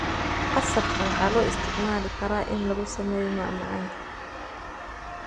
Qasabka waxaa loo isticmaali karaa in lagu sameeyo macmacaanka.